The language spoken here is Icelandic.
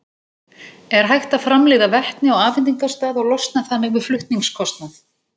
Er hægt að framleiða vetni á afhendingarstað og losna þannig við flutningskostnað?